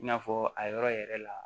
I n'a fɔ a yɔrɔ yɛrɛ la